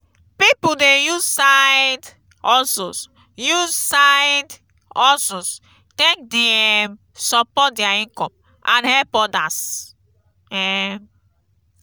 pipo dey use side-hustles use side-hustles take dey um support dia income and help odas. um